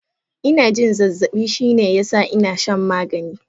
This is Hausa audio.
Ina jin zazzabi shine ya sa ina shan magani.